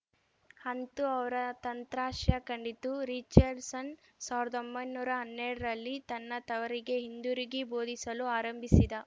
ಅಂತೂ ಅವರ ತಂತ್ರ ಶ ಕಂಡಿತು ರಿಚರ್ಡ್‌ಸನ್‌ ಸಾವಿರ್ದಾ ಒಂಬೈನೂರಾ ಹನ್ನೆರಡರಲ್ಲಿ ತನ್ನ ತವರಿಗೆ ಹಿಂದಿರುಗಿ ಬೋಧಿಸಲು ಆರಂಭಿಸಿದ